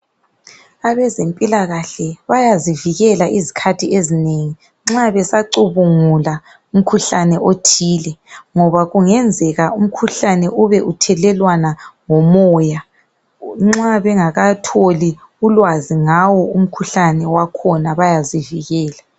Abezempilakahle bayazivikela izikhathi ezinengi nxa besacubungula umkhuhlane othile ngoba kungenzeka umkhuhlane ube uthelelwana ngomoya. Nxa bengakatholi ulwazi ngawo umkhuhlane wakhona bayazivikela